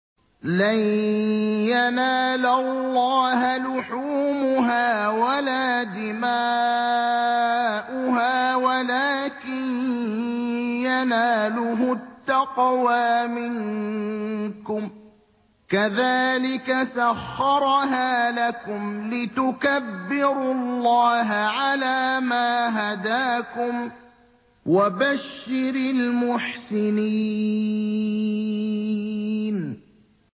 لَن يَنَالَ اللَّهَ لُحُومُهَا وَلَا دِمَاؤُهَا وَلَٰكِن يَنَالُهُ التَّقْوَىٰ مِنكُمْ ۚ كَذَٰلِكَ سَخَّرَهَا لَكُمْ لِتُكَبِّرُوا اللَّهَ عَلَىٰ مَا هَدَاكُمْ ۗ وَبَشِّرِ الْمُحْسِنِينَ